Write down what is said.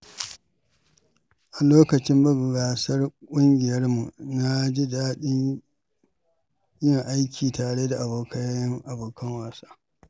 A lokacin buga gasar ƙungiyarmu, na ji daɗin yin aiki tare da abokan wasa.